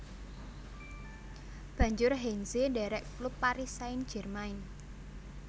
Banjur Heinze ndherek klub Paris Saint Germain